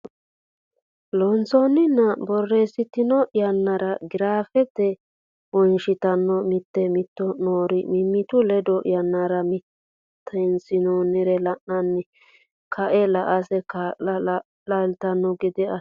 Loossinanni borreessitanno yannara giraafe wonshitanno mitii mitanno nooro mimitu ledo yannara mitiinsanonsare la anni kaa linsa kaa lantanno gede assinsa.